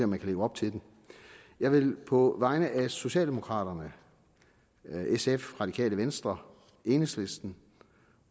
man kan leve op til det jeg vil på vegne af socialdemokraterne sf radikale venstre enhedslisten